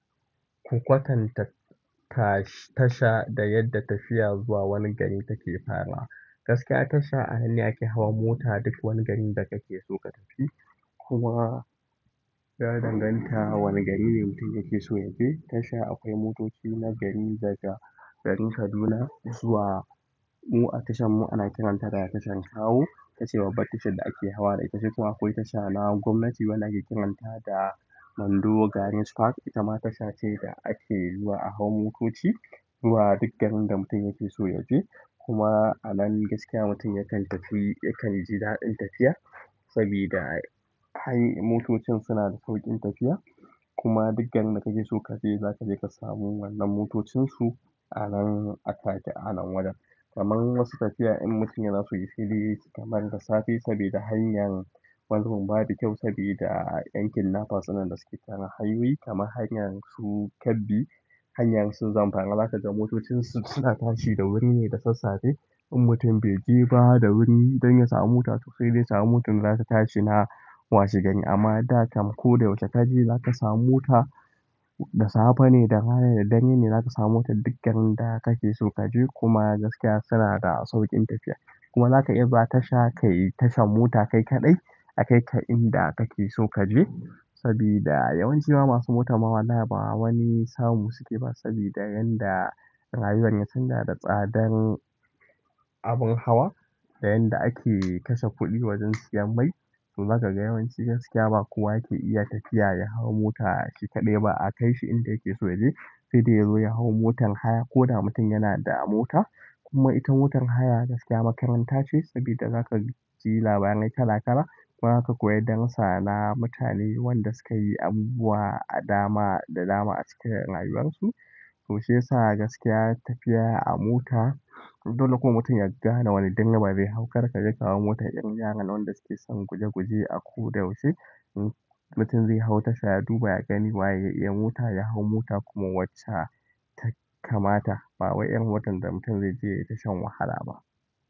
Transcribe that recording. Ku kwatan ta tasha da yadda tafiya zuwa wani gari take fara. Gaskiya tasha a nan ne ake hawa mota duk wani garin da kake so ka tafi. Kuma ya danganta wane gari ne mutum yake so ya je. Tasha akwai motoci na gari daga garin Kaduna zuwa mu a tashan mu ana kiranta da tashan Kawo. Itace babbar tashar da ake hawa da ita sai kuma akwai tasha na gwamnati wanda ake kiranta da mando gani sikwak itama tasha ce da ake zuwa a hau motoci zuwa duk garin da mutum yake so yaje kuma a nan gaskiya mutum yakan tafi yakan ji daɗin tafiya. Sabida han motocin suna da sauƙin tafiya. Kuma duk garin da kake so kaje zaka je ka samu wannan motocin su a nan a take a nan wajen. Kaman wasu tafiya in mutum yana so ya shirye shi kamar da safe sabida hanyar wani zubin ba bi kyau sabida ƴan kidnappers innan da suke kan hanyoyi maman hanyar su Kebbi, hanyar su Zamfara zaka ga motocin su suna tashi da wuri ne da sassafe in mutun be je ba da wuri dan ya samu mota to sai dai ya samu motar da zata tashi washe gari amma da kam ko da yaushe kaje zaka samu mota da safe ne, da rana ne, da dare ne zaka samu mota duk garin da kake so kaje. Kuma gaskiya suna da sauƙin tafiya. Kuma zaka iya zuwa tasha kayi tashan mota kai kaɗai. A kai ka inda kake so kaje. Sabida yawanci ma masu mota ma wallahi ba wani samu suke ba sabida yan da rayuwan ya canja da tsadan abun hawa da yan da ake kashe kuɗi wajen siyan mai. To zaka ga yawanci gaskiya ba kowa yake iya tafiya ya hau mota shi kaɗai ba a kai shi inda yake so ya je. Sai dai yazo ya hau motan haya. Ko da mutum yana da mota kuma ita motar haya gaskiya makaranta ce sabida za ka ji labarai kala kala. Kuma za ka koyi darussa na mutane wanda sukayi abubuwa a dama da dama a cikin rayuwar su. To shiyasa gaskiya tafiya a mota dole kuma mutum ya gane wani direba zai hau kar kaje ka hau motar ƴan yaran nan wanda suke son guje guje a ko da yaushe. Mutum zai hau tasha ya duba ya gani waye ya iya mota ya hau mota kuma wacce ta kamata. Ba wai irin watan da mutum zai je yayi ta shan wahala ba.